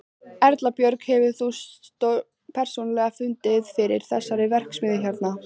Erla Björg: Hefur þú persónulega fundið fyrir þessari verksmiðju hérna?